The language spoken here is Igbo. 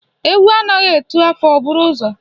Egwu anaghị atụ afọ, o buru ụzọ.